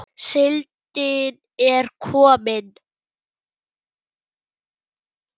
Síldin er komin!